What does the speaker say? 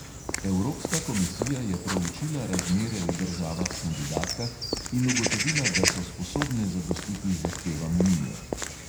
Evropska komisija je proučila razmere v državah kandidatkah in ugotovila, da so sposobne zadostiti zahtevam unije.